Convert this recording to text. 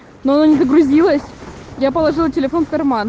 но оно не загрузилось я положила телефон в карман